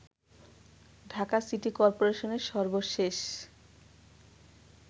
Dhaka city করপোরেশনের সর্বশেষ